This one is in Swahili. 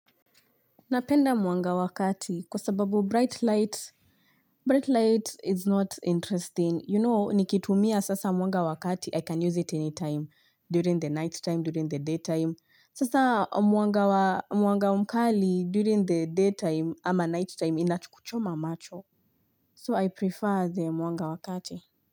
Napenda mwanga wa kati kwa sababu bright light is not interesting. You know, nikitumia sasa mwanga wa kati, I can use it anytime, during the night time, during the day time. Sasa mwanga mkali, during the day time ama night time, inacho kuchoma macho. So I prefer the mwanga wa kati.